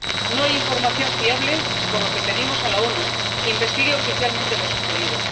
No hay información fiable, por lo que pedimos a las Naciones Unidas que investiguen oficialmente lo sucedido.